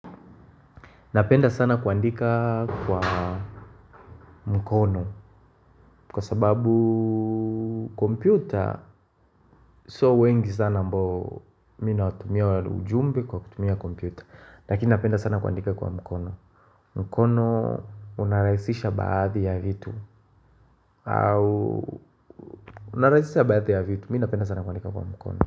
Napenda sana kuandika kwa mkono Kwa sababu kompyuta Sio wengi sana ambao mi nawatumia ujumbe kwa kutumia kompyuta Lakini napenda sana kuandika kwa mkono mkono unarahisisha baadhi ya vitu au unarahisisha baadhi ya vitu Mi napenda sana kuandika kwa mkono.